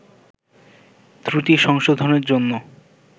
ত্রুটি সংশোধনের জন্য